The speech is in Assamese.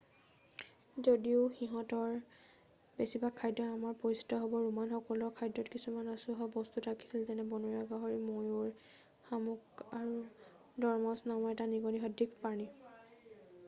যদিও সিহঁতৰ বেছিভাগ খাদ্য আমাৰ পৰিচিত হ'ব ৰোমানসকলৰ খাদ্যত কিছুমান আচহুৱা বস্তু থাকিছিল যেনে বনৰীয়া গাহৰি ময়ূৰ শামুক আৰু দৰমাউছ নামৰ এটা নিগনীসদৃশ প্ৰাণী